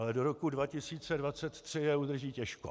Ale do roku 2023 je udrží těžko.